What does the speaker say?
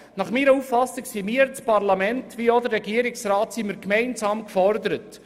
Nach meiner Auffassung sind wir als Parlament gemeinsam mit dem Regierungsrat gefordert.